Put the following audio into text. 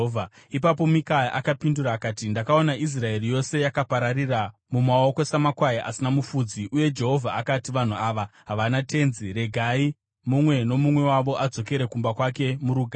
Ipapo Mikaya akapindura akati, “Ndakaona Israeri yose yakapararira mumaoko samakwai asina mufudzi, uye Jehovha akati, ‘Vanhu ava havana tenzi, regai mumwe nomumwe wavo adzokere kumba kwake murugare.’ ”